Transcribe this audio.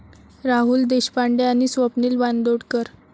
राहुल देशपांडे आणि स्वप्नील बांदोडकर